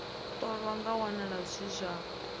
ṱolwa zwa wanala zwi zwa